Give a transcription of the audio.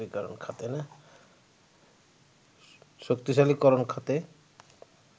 শক্তিশালীকরণ খাতে